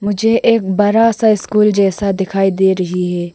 मुझे एक बरा सा स्कूल जैसा दिखाई दे रही है।